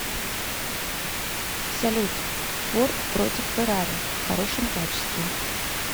салют форд против феррари в хорошем качестве